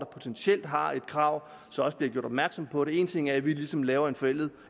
potentielt har et krav også bliver gjort opmærksom på det en ting er at vi ligesom laver en forlænget